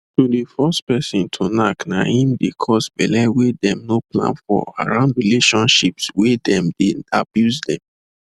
to force person to knack na him dey cause belle wey them no plan for around relationships wey them dey abuse them